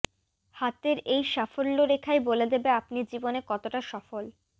হাতের এই সাফল্য রেখাই বলে দেবে আপনি জীবনে কতটা সফল